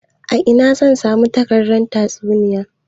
A ina zan samu takardar tatsuniya?